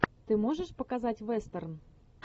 ты можешь показать вестерн